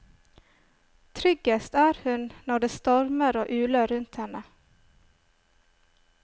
Tryggest er hun når det stormer og uler rundt henne.